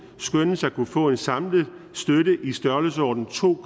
skønnes at kunne få en samlet støtte i størrelsesordenen to